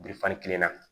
kelen na